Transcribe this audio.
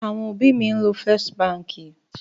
Àwọn òbí mi ń lo First Báńkì.